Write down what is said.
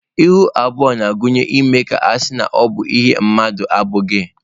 Ihu abụọ na-agụnye ime ka à ga-asị na ọ bụ ihe mmadụ na-abụghị.